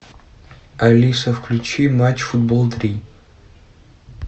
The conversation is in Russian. алиса включи матч футбол три